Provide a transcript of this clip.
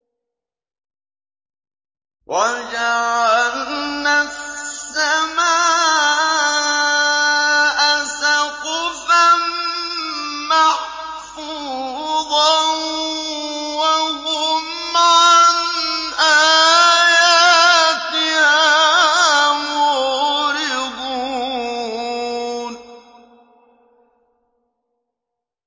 وَجَعَلْنَا السَّمَاءَ سَقْفًا مَّحْفُوظًا ۖ وَهُمْ عَنْ آيَاتِهَا مُعْرِضُونَ